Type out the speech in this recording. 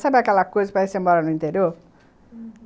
Sabe aquela coisa que parece que você mora no interior?, uhum.